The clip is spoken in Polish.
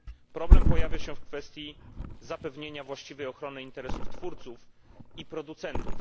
Problem pojawia się w kwestii zapewnienia właściwej ochrony interesów twórców i producentów.